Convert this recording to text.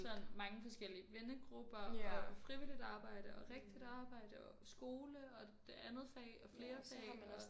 Sådan mange forskellige vennegrupper og frivilligt arbejde og rigtigt arbejde og skole og det andet fag og flere fag og